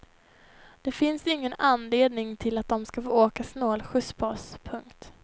Det finns ingen anledning till att de ska få åka snålskjuts på oss. punkt